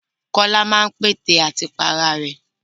Kọ́lá máa ń pète àti pa ara rẹ̀.